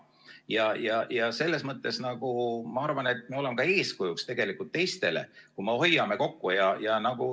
Ja ma arvan, et selles mõttes me oleme eeskujuks teistele, kui me hoiame kokku.